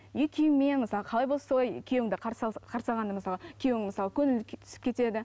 үй киіммен мысалға қалай болса солай күйеуіңді қарсы қарсы алғанда мысалы күйеуіңнің мысалы көңілі түсіп кетеді